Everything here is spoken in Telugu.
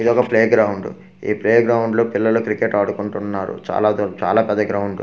ఇదొక ప్లే గ్రౌండ్ ఈ ప్లేగ్రాండ్ లో పిల్లలు క్రికెట్ ఆడుకుంటున్నారు చాలాదూ చాలా పెద్ద గ్రాండ్ .